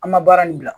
An ma baara nin bila